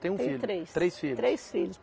Tem um filho. Tenho três, três filhos. Três filhos